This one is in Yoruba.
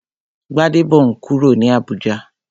Gbadebo n kúrò ní Abùjá